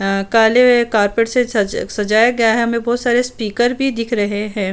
अ कल कारपेट से सज सजाया गया है हमे बोहत सारे स्पीकर भी दिख रहे है।